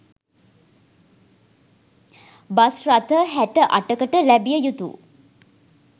bus රථ හැට අටකට ලැබිය යුතු